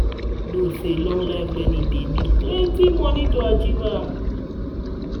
I know sey lifelong learning dey need plenty moni to achieve.